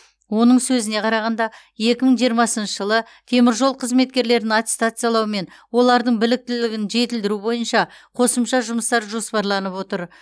оның сөзіне қарағанда екі мың жиырмасыншы жылы теміржол қызметкерлерін аттестациялау мен олардың біліктілігін жетілдіру бойынша қосымша жұмыстар жоспарланып отыр